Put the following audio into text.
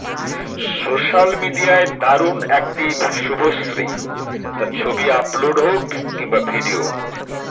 social মিডিয়ায় দারুণ active Subhashree তা ছবি আপলোড হোক কিংবা ভিডিও